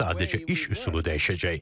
Sadəcə iş üsulu dəyişəcək.